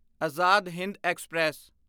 Azad Hind express